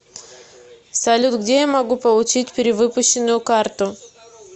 салют где я могу получить перевыпущенную карту